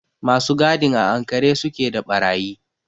Masu gadin a ankare su ke da ɓarayi.